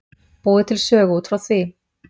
Búið til sögu út frá því.